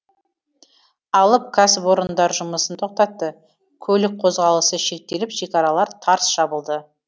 алып кәсіпорындар жұмысын тоқтатты көлік қозғалысы шектеліп шекаралар тарс жабылды